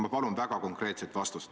Ma palun väga konkreetset vastust.